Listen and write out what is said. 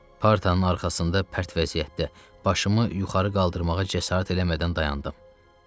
Pərdənin arxasında pərt vəziyyətdə başımı yuxarı qaldırmağa cəsarət eləmədən dayandım.